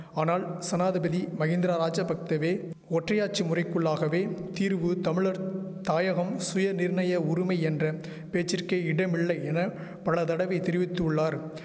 ஆனால் சனாதிபதி மகிந்தரா ராஜபக்தவோ ஒற்றையாட்சி முறைக்குள்ளாகவே தீர்வு தமிழர் தாயகம் சுயநிர்ணய உருமை என்ற பேச்சிற்கே இடமில்லை என பல தடவை தெரிவித்துள்ளார்